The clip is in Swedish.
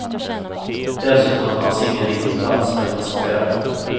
Dessutom fanns ingen riktig plats för en passagerare.